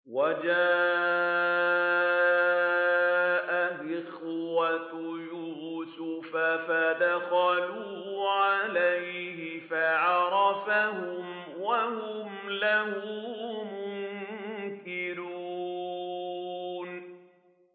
وَجَاءَ إِخْوَةُ يُوسُفَ فَدَخَلُوا عَلَيْهِ فَعَرَفَهُمْ وَهُمْ لَهُ مُنكِرُونَ